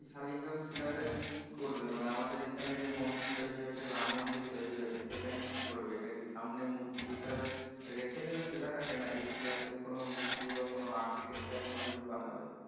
শালীগ্রাম শীলা টা দিয়ে কি করবে মানে আমাদের এইখানে যে মন্দির তৈরি হচ্ছে রাম মন্দির তৈরি হচ্ছে সেখানে কি করবে এটা কি সামনে মূর্তি হিসাবে রেখে দিবে শিলা টাকে না এই শিলা টাকে কোন মূর্তি বা কোন architecture কোন কিছু বানাবে